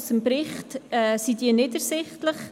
Aus dem Bericht sind diese nicht ersichtlich.